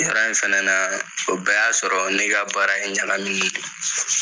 Yɔrɔ in fɛnɛ na, o bɛɛ y'a sɔrɔ ne ka baara in ɲagami ni non.